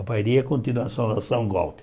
A Bairi é a continuação da São Gualter.